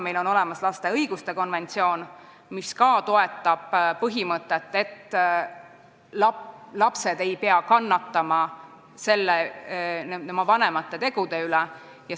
Meil on olemas lapse õiguste konventsioon, mis ka toetab põhimõtet, et lapsed ei pea oma vanemate tegude pärast kannatama.